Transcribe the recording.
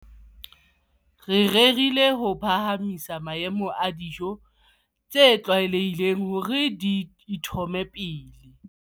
Re rerile ho phahamisa maemo a dijo tse tlwaelehileng hore di itlhome pele.